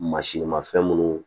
Mansin ma fɛn munnu